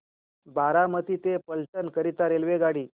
बारामती ते फलटण करीता रेल्वेगाडी